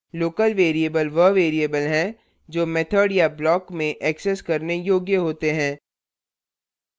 local variables वह variables हैं जो method या block में एक्सेस करने योग्य होते हैं